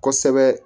Kosɛbɛ